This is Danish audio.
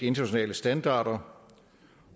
internationale standarder